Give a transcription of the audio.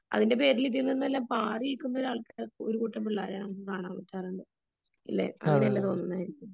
അതിന്റെ പേരില് ഇതിൽ നിന്നെല്ലാം പാറി നില്ക്കുന്ന ആൾക്കാര് ഒരു കൂട്ടം പിള്ളേര് ഇല്ലേ അങ്ങനയല്ലേ തോന്നുന്നേ